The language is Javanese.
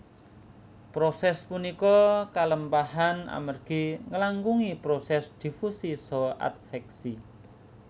Proses punika kalempahan amergi ngelangkungi proses difusi saha adveksi